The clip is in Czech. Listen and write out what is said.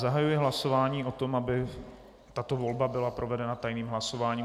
Zahajuji hlasování o tom, aby tato volba byla provedena tajným hlasováním.